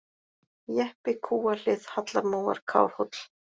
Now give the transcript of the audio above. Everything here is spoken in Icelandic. Jeppi, Kúahlið, Hallarmóar, Kárhóll